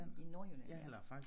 I Nordjylland ja